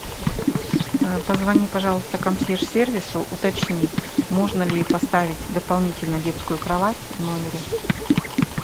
позвони пожалуйста консьерж сервису уточни можно ли поставить дополнительную детскую кровать в номере